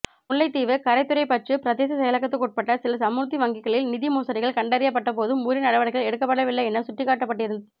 முல்லைத்தீவு கரைதுறைப்பற்று பிரதேச செயலகத்துக்குட்பட்ட சில சமுர்த்தி வங்கிகளில் நிதி மோசடிகள் கண்டறியப்பட்டபோதும் உரிய நடவடிக்கைகள் எடுக்கப்படவில்லை என்று சுட்டிக்காட்டப்பட்டிருந்